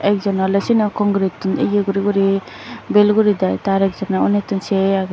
ek joney oley syeno concretun eyeh guri guri bel guridey tey ekjoney unnitun sei aagey.